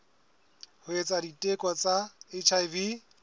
ho etsa diteko tsa hiv